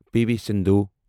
P V Sindhu